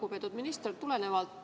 Lugupeetud minister!